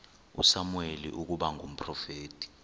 usamuweli ukuba ngumprofeti